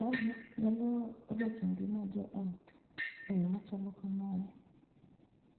Mae nyalo rocho ngima jo ot e yo machalo kamae,